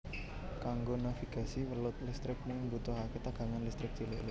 Kanggo navigasi welut listrik mung mbutuhaké tegangan listrik cilik